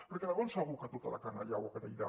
perquè de ben segur que tota la canalla ho agrairà